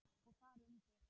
Og þar undir